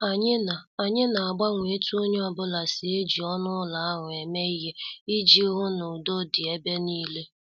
Anyị na- Anyị na- agbanwe etu onye ọ bụla si eji ọnụ ụlọ ahụ eme ihe iji hụ na udo dị ebe nile.